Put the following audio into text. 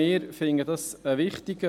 Auch wir finden diesen Punkt wichtig.